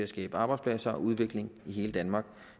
skabe arbejdspladser og udvikling i hele danmark